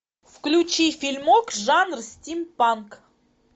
включи фильмок жанр стимпанк